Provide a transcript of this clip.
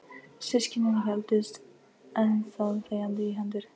Systkinin héldust enn þá þegjandi í hendur.